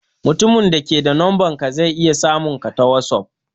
Mutumin da ke da numbanka zai iya samun ka ta whatsapp.